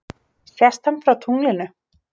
Sést hann frá tunglinu?